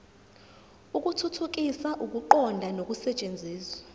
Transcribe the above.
ukuthuthukisa ukuqonda nokusetshenziswa